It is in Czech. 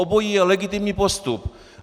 Obojí je legitimní postup.